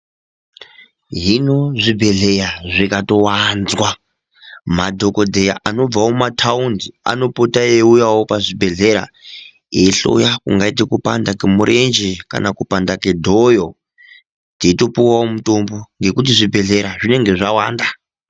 Hino zvibhehleya zvikatowanzwa ,madhokodheya anobvawo mumathaundi anopota eiuyawo pazvibhehleya eihloya, kungaite kupanda kwemurenje ,kana kupanda kwedhoyo, teitopuwawo mitombo ngekuti zvibhehleya zvinonga zvawanda.